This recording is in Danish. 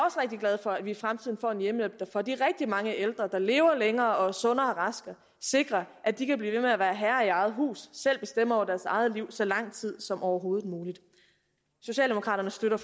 glad for at vi i fremtiden får en hjemmehjælp der for de rigtig mange ældre der lever længere og er sunde og raske sikrer at de kan blive ved med at være herre i eget hus selv bestemme over deres eget liv så lang tid som overhovedet muligt socialdemokraterne støtter